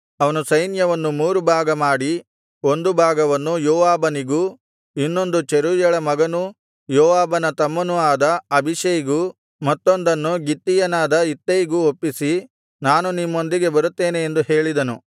ಅವನು ಸೈನ್ಯವನ್ನು ಮೂರು ಭಾಗ ಮಾಡಿ ಒಂದು ಭಾಗವನ್ನು ಯೋವಾಬನಿಗೂ ಇನ್ನೊಂದನ್ನು ಚೆರೂಯಳ ಮಗನೂ ಯೋವಾಬನ ತಮ್ಮನೂ ಆದ ಅಬೀಷೈಗೂ ಮತ್ತೊಂದನ್ನು ಗಿತ್ತೀಯನಾದ ಇತ್ತೈಗೂ ಒಪ್ಪಿಸಿ ನಾನು ನಿಮ್ಮೊಂದಿಗೆ ಬರುತ್ತೇನೆ ಎಂದು ಹೇಳಿದನು